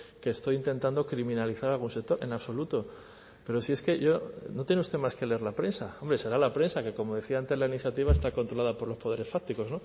que estoy intentando criminalizar algún sector en absoluto pero si es que yo no tiene usted más que leer la prensa hombre será la prensa que como decía antes la iniciativa está controlada por los poderes fácticos